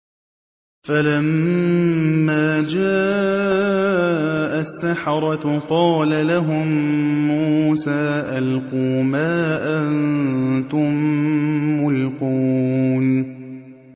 فَلَمَّا جَاءَ السَّحَرَةُ قَالَ لَهُم مُّوسَىٰ أَلْقُوا مَا أَنتُم مُّلْقُونَ